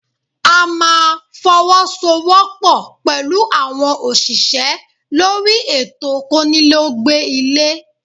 A máa fọwọ́ sọ wọ́pọ̀ pẹ̀lú àwọn òṣìṣẹ́ lórí ètò konile ó gbé ilé